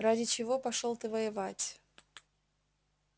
ради чего пошёл ты воевать